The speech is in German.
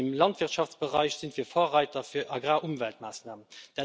Auch im Landwirtschaftsbereich sind wir Vorreiter für Agrarumweltmaßnahmen.